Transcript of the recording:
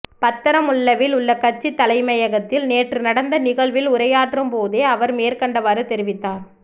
பத்தரமுல்லவில் உள்ள கட்சித் தலைமையகத்தில் நேற்று நடந்த நிகழ்வில் உரையாற்றும் போதே அவர் மேற்கண்டவாறு தெரிவித்தார்